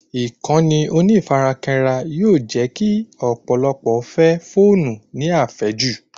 Ìkànnì onífarakínra yóò jẹ́ kí ọ̀pọ̀lọpọ̀ fẹ́ fóònù ní àfẹ́jù